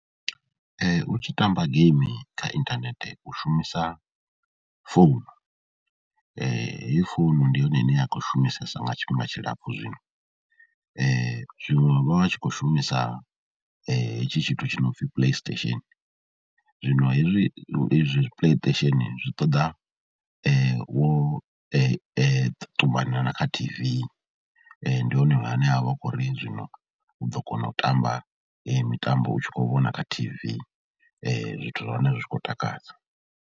U tshi tamba geimi kha inthanethe u shumisa founu, heyi founu ndi yone ine ya khou shumisesa nga tshifhinga tshilapfhu zwino. Zwiṅwe u vha u tshi khou shumisa hetshi tshithu tshi no pfhi Playstation, zwino hezwi ezwi Playstation zwi ṱoḓa wo ṱumana na kha T_V, ndi hune hane ha vha hu khou uri zwino u ḓo kona u tamba mitambo u tshi khou vhona kha T_V, zwithu zwa hone zwi tshi khou takadza.